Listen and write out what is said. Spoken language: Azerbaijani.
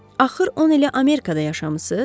Axır 10 ili Amerikada yaşamısız?